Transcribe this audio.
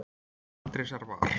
Faðir Andrésar var